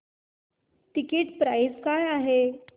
ticket price काय आहे